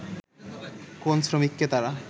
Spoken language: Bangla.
কোন শ্রমিককে তারা